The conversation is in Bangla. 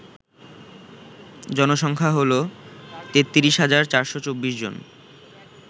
জনসংখ্যা হল ৩৩৪২৪ জন